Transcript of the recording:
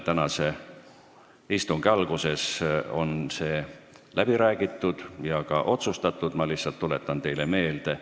Tänase istungi alguses sai see läbi räägitud ja ka otsustatud, ma lihtsalt tuletan teile meelde.